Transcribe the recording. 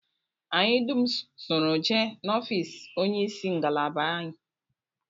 Anyị dum soro jee n'ofịịsị onyeisi ngalaba anyị